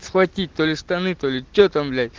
схватить то ли штаны то ли что там блять